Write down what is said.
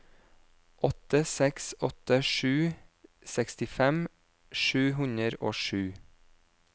åtte seks åtte sju sekstifem sju hundre og sju